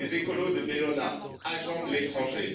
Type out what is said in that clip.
Les écolos de Bellona agents de l'étranger!